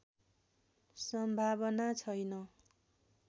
सम्भावना छैन